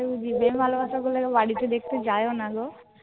প্রেম ভালবাসা করলে কেউ বাড়িতে দেখতে যায় ও না গো